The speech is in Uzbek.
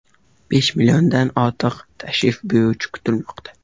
Besh milliondan ortiq tashrif buyuruvchi kutilmoqda.